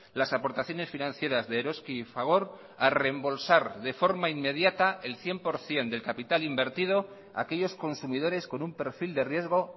las aportaciones financieras de eroski y fagor a rembolsar de forma inmediata el cien por ciento del capital invertido a aquellos consumidores con un perfil de riesgo